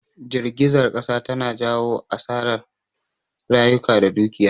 Jirgizar kasa tana jawo asarar rayuka da dukiya